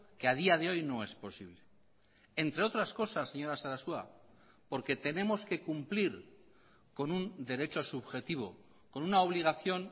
que a día de hoy no es posible entre otras cosas señora sarasua porque tenemos que cumplir con un derecho subjetivo con una obligación